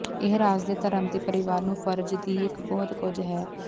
ਇਹ ਰਾਜ ਦੇ ਧਰਮ ਦੇ ਪਰਿਵਾਰ ਨੂੰ ਫਰਜ਼ ਦੀ ਇੱਕ ਬਹੁਤ ਕੁਝ ਹੈ